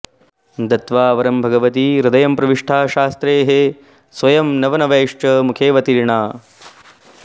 दत्वा वरं भगवती हृदयं प्रविष्टा शास्त्रैः स्वयं नवनवैश्च मुखेऽवतीर्णा